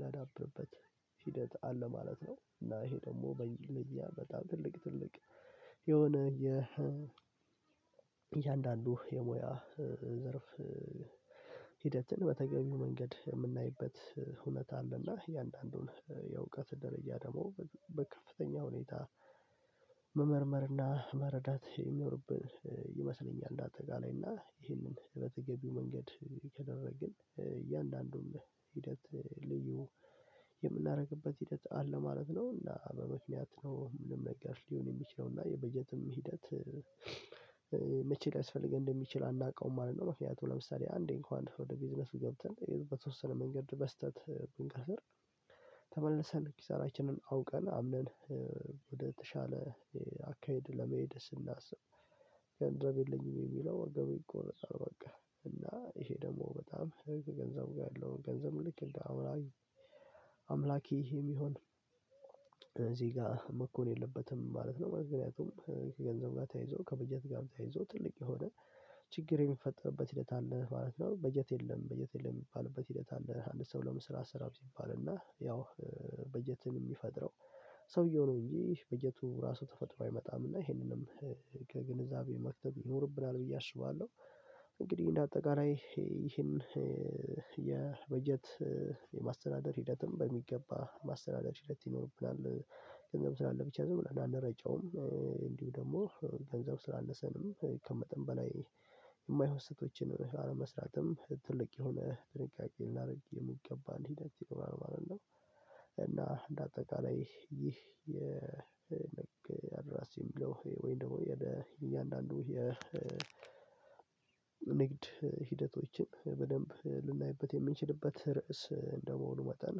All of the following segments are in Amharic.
ላዳብርበት ሂደት አለ ማለት ነው። እና ይሄ ደግሞ በልያ በጣም ትልቅ ትልቅ የሆነ የ የእያንዳንዱ የሙያ ዘርፍ ሂደትን በተገቢው መንገድ የምናይበት እውነት አለ እና የእያንዳንዱን የእውቀት ደረጃ ደግሞ በከፍተኛ ሁኔታ መመርመርና መረዳት የሚኖርብን ይመስለኛል። እንዳጠቃለይ እና ይህንን በተገቢው መንገድ ከደረግን እያንዳንዱን ሂደት ልዩ የምናደርግበት ሂደት አለ ማለት ነው። እና በምክንያት ነው ምንም ነገር ሊሆን የሚችለው እና የበጀትም ሂደት መቼ ሊያስፈልግ እንደሚችል አናውቀውም? ማለት ነው። ምክንያቱም ለምሳሌ አንዴ እንኳን ወደ ቢዝነሱ ገብተን ወይም በተወሰነ መንገድ በስህተት ብንከስር ተመልሰን ኪሳራችንን አውቀን አምነን ወደተሻለ አካሄድ ለመሄድ ስናስብ ገንዘብ የለኝም የሚለው ወገብ ይቆረጠል። በቃ እና ይሄ ደግሞ በጣም ገንዘብ ጋር ያለውን ገንዘብ ልክ እንደ አሁን አምላኬ ይሄ የሚሆን እዚህ ጋር መኮን የለበትም ማለት ነው። ምክንያቱም ከገንዘብ ጋር ተያይዞ ከበጀት ጋር ተያይዞ ትልቅ የሆነ ችግር የሚፈጠርበት ሂደት አለ ማለት ነው። በጀት የለም በጀት የለም የሚባልበት ሂደት አለ። አንድ ሰው ለመስራት ሰራ ሲባል እና ያው በጀትን የሚፈጥረው ሰውየው ነው እንጂ በጀቱ እራሱ ተፈጥሮ አይመጣም። እና ይሄንንም ከግንዛቤ መክተት ይኖርብናል ብዬ አስባለሁ። እንግዲህ እንደ አጠቃላይ ይሄን የበጀት የማስተዳደር ሂደትም በሚገባ ማስተዳደር ሂደት ይኖርብናል ገንዘብ ስላለ ብቻ ዝም ብለን አንረጨውም። እንዲሁ ደግሞ ገንዘብ ስላነሰንም ከመጠን በላይ የማይሆን ስተቶችን አለመስራትም ትልቅ የሆነ ጥንቃቄ ልናደርግ የምገባ ሂደት ይኖራል ማለት ነው። እና እንደ አጠቃላይ ይህ የ ንግ አድራሲ የሚለው ወይም ደሞ እያንዳንዱ የንግድ ንግድ ሂደቶችን በደንብ ልናይበት የምንችልበት ርዕስ እንደመሆኑ መጠን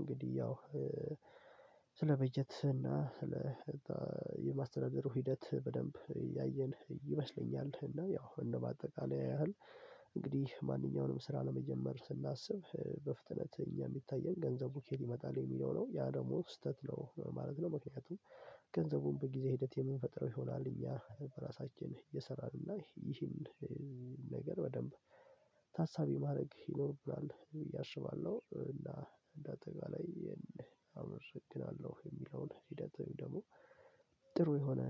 እንግዲህ ያው ስለ በጀት እና ስለ የማስተደዳሩ ሂደት በደንብ ያየን ይመስለኛል። እና ያው እንደው በአጠቃላይ ያህል እንግዲህ ማንኛውንም ስራ ለመጀመር ስናስብ በፍጥነት እኛ የሚታየን ገንዘቡ ኬት ይመጣል የሚለው ነው ያ ደግሞ ስህተት ነው ማለት ነው። ምክንያቱም ገንዘቡን በጊዜ ሂደት የምንፈጥረው ይሆናል። እኛ በራሳችን እየሰራን እና ይህን ነገር በደንብ ታሳቢ ማድረግ ይኖርብናል ብዬ አስባለሁ። እና እንደ አጠቃላይ አመሰግናለሁ የሚለውን ሂደቱን ደግሞ ጥሩ የሆነ